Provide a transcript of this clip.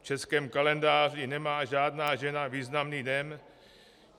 V českém kalendáři nemá žádná žena významný den.